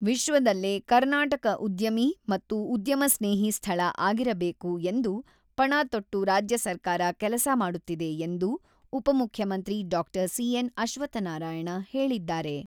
ವಿಶ್ವದಲ್ಲೇ ಕರ್ನಾಟಕ ಉದ್ಯಮಿ ಮತ್ತು ಉದ್ಯಮ ಸ್ನೇಹಿ ಸ್ಥಳ ಆಗಿರಬೇಕು ಎಂದು ಪಣ ತೊಟ್ಟು ರಾಜ್ಯ ಸರ್ಕಾರ ಕೆಲಸ ಮಾಡುತ್ತಿದೆ ಎಂದು ಉಪಮುಖ್ಯಮಂತ್ರಿ ಡಾಕ್ಟರ್ ಸಿ.ಎನ್.ಅಶ್ವಥ್‌ನಾರಾಯಣ ಹೇಳಿದ್ದಾರೆ.